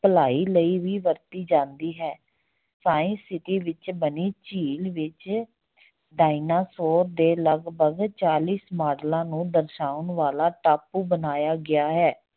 ਭਲਾਈ ਲਈ ਵੀ ਵਰਤੀ ਜਾਂਦੀ ਹੈ science city ਵਿੱਚ ਬਣੀ ਝੀਲ ਵਿੱਚ ਡਾਇਨਾਸੋਰ ਦੇ ਲੱਗਭਗ ਚਾਲੀਸ ਮਾਡਲਾਂ ਨੂੰ ਦਰਸਾਉਣ ਵਾਲਾ ਟਾਪੂ ਬਣਾਇਆ ਗਿਆ ਹੈ।